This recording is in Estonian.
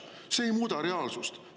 See ei muuda reaalsust.